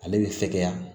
Ale bɛ fɛkɛya